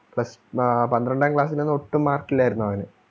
plus ആഹ് പന്ത്രണ്ടാം class ൽ ഒന്നും ഒട്ടും mark ഇല്ലാരുന്നു അവന്.